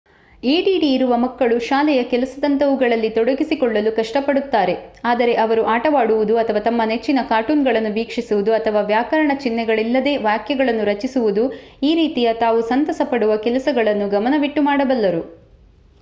add ಇರುವ ಮಕ್ಕಳು ಶಾಲೆಯ ಕೆಲಸದಂತವುಗಳಲ್ಲಿ ತೊಡಗಿಸಿಕೊಳ್ಳಲು ಕಷ್ಟಪಡುತ್ತಾರೆ ಆದರೆ ಅವರು ಆಟವಾಡುವುದು ಅಥವಾ ತಮ್ಮ ನೆಚ್ಚಿನ ಕಾರ್ಟೂನ್‌ಗಳನ್ನು ವೀಕ್ಷಿಸುವುದು ಅಥವಾ ವ್ಯಾಕರಣ ಚಿನ್ಹೆಗಳಿಲ್ಲದೇ ವಾಕ್ಯಗಳನ್ನು ರಚಿಸುವುದು ಈ ರೀತಿಯ ತಾವು ಸಂತಸಪಡುವ ಕೆಲಸಗಳನ್ನು ಗಮನವಿಟ್ಟು ಮಾಡಬಲ್ಲರು